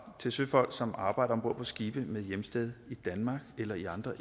til søfolk som arbejder om bord på skibe med hjemsted i danmark eller i andre